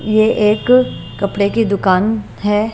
ये एक कपड़े की दुकान है।